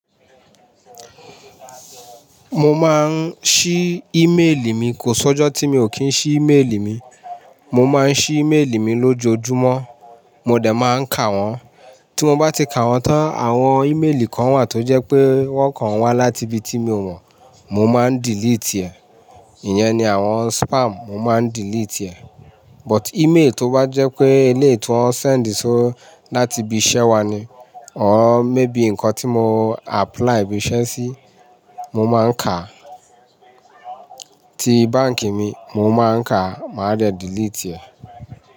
Mo máa ń ṣí ímélì mi, kò ṣọ́jọ́ tí mi ò kí ń ṣí ímélì mi. Mo máa ń ṣí ímélì mi lójoojúmọ́, mo dẹ̀ máa ń kà wọ́n. Tí mo bá ti kà wọ́n tán, àwọn ímélì kan wà tó jẹ́ pé wọ́n kàn wá láti ibi tí mi ò mọ̀, mo máa ń delete ẹ. Ìyẹn ni àwọn spam, mo máa ń delete ẹ. But ímeélì tó bá jẹ́ pé ilé ìtura wọ́n send o láti ibi iṣẹ́ wa ni, àwọn mébì nǹkan tí mo apply ibi iṣẹ́ sí, mo máa ń kà. Ti báǹkì mi, mo máa ń kà, màá dẹ̀ delete ẹ.